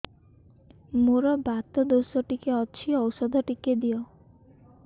ମୋର୍ ବାତ ଦୋଷ ଟିକେ ଅଛି ଔଷଧ ଟିକେ ଦିଅ